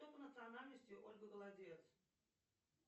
кто по национальности ольга голодец